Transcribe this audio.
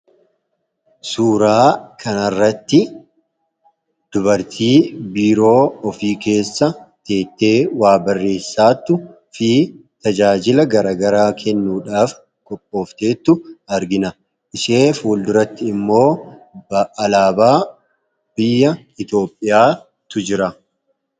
Suuraa kanarratti dubartii biiroo ofii keessa teessee waa barreessaa jirtuu fi tajaajila gara garaa kennuudhaaf qophoofteettu argina. Ishee fuulduratti immoo alaabaa biyya Itoophiyaatu jira.